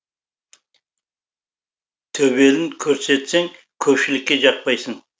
төбелін көрсетсең көпшілікке жақпайсың